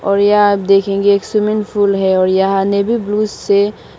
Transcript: और यहाँ आप देखेंगे एक स्विमिंग पूल है और यहां नेवी ब्लू से--